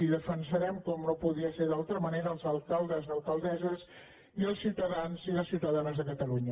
i defensarem com no podia ser d’altra manera els alcaldes i alcaldesses i els ciutadans i les ciutadanes de catalunya